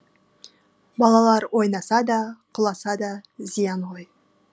балалар ойнаса да құласа да зиян ғой